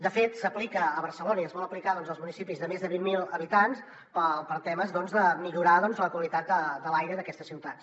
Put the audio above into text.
de fet s’aplica a barcelona i es vol aplicar als municipis de més de vint mil habitants per temes de millorar la qualitat de l’aire d’aquestes ciutats